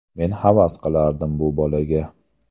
Men havas qilardim bu bolaga.